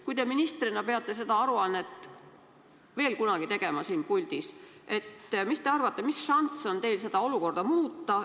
Kui te ministrina peate seda aruannet veel kunagi siin puldis esitama, siis mis te arvate, mis šanss on teil seda olukorda muuta?